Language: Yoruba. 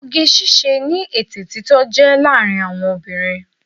Oge ṣíṣe ni ètè títọ́ jẹ́ láàárín àwọn obìnrin